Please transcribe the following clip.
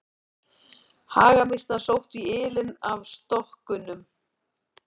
Hagamýsnar sóttu í ylinn af stokkunum.